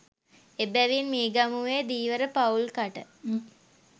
එබැවින් මීගමුවේ ධීවර පවුල්කට